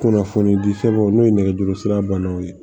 Kunnafonidi sɛbɛnw n'o ye nɛgɛjuru sira banaw ye